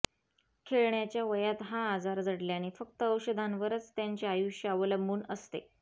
खेळण्याच्या वयात हा आजार जडल्याने फक्त औषधांवरच त्यांचे आयुष्य अवलंबून असते